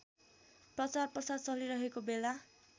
प्रचारप्रसार चलिरहेको बेला